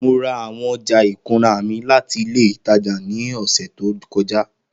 Mo ra awọn ọja ikunra mi lati ile itaja ni ọsẹ to kọja